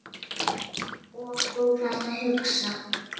Og þú þarft að hugsa.